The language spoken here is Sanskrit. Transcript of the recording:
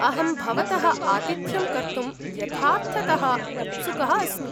अहं भवतः आतिथ्यं कर्तुं यथार्थतः उत्सुकः अस्मि।